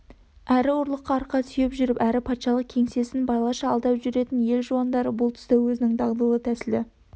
әрі ұлыққа арқа сүйеп жүріп әрі патшалық кеңсесін балаша алдап жүретін ел жуандары бұл тұста өзінің дағдылы тәсілі